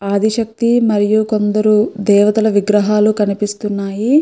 ఆది శక్తి మరియు కొందరు దేవతల విగ్రహాలు కనిపిస్తున్నాయి.